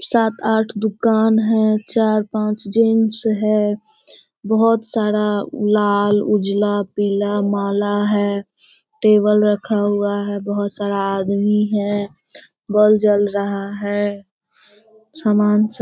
सात आठ दुकान है। चार पाँच जीन्स है। बहुत सारा लाल उजला पीला माला है। टेबल रखा हुआ है। बहुत सारा आदमी है। बल्ब जल रहा है। सामान सब --